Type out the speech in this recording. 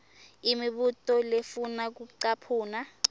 imibuto lefuna kucaphuna